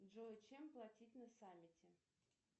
джой чем платить на саммите